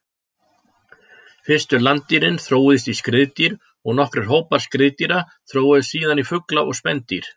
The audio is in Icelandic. Fyrstu landdýrin þróuðust í skriðdýr og nokkrir hópar skriðdýra þróuðust síðan í fugla og spendýr.